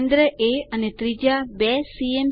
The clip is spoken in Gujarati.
કેન્દ્ર એ અને ત્રિજ્યા 2સીએમ